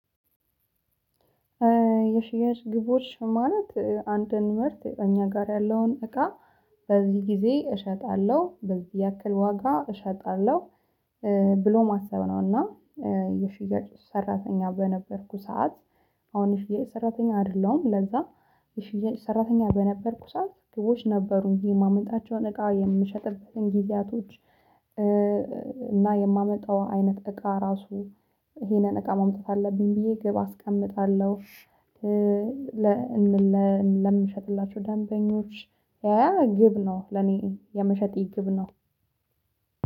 የሽያጭ ግቦች ማለት አንድን ምርት እኛ ጋር ያለውን እቃ በዚህ ጊዜ እሸጣለሁ በዚህ ያክል ዋጋ እሸጣለሁ ብሎ ማሰብ ነው። እና የሽያጭ ሰራተኛ በነበርኩ ሰዓት። አሁን የሽያጭ ሰራተኛ አይደለሁም። ለዛ የሽያጭ ሰራተኛ በነበርኩ ሰዓት ግቦች ነበሩ እንጂ የማመጣቸውን እቃ የምሸጥበትን ጊዜያቶች። እና የማመጣው አይነት እቃ ራሱ ይሄንን እቃ መምጣት አለብኝ ብዬ ግብ አስቀምጣለሁ። ለምሸጥላቸው ደንበኞች ያ ያ ግብ ነው ለኔ የመሸጥ ግብ ነው።